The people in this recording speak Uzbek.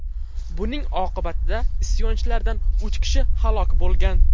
Buning oqibatida isyonchilardan uch kishi halok bo‘lgan.